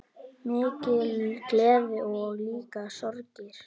Mikil gleði og líka sorgir.